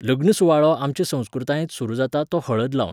लग्न सुवाळो आमचे संस्कृतायेंत सुरू जाता तो हळद लावन